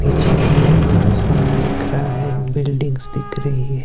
पिछे की ओर आसमान दिख रहा है बिल्डिंग्स दिख रही--